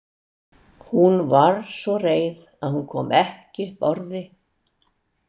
Hún var svo reið að hún kom ekki upp orði.